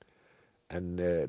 en nú